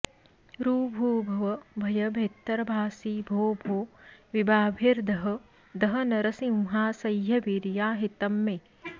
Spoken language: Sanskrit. ऋभुभव भय भेत्तर्भासि भो भो विभाभिर्दह दह नरसिंहासह्यवीर्याहितंमे